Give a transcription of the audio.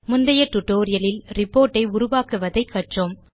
முந்தைய டியூட்டோரியல் லில் ரிப்போர்ட் ஐ உருவாக்குவதை கற்றோம்